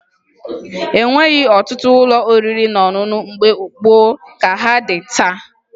E nweghi ọtụtụ ụlọ oriri na ọṅụṅụ mgbe gboo ka ha dị taa